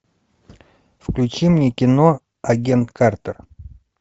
включи мне кино агент картер